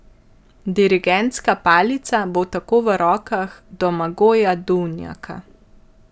Dirigentska palica bo tako v rokah Domagoja Duvnjaka.